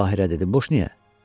Bahirə dedi: Boş niyə?